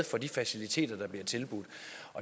for de faciliteter der bliver tilbudt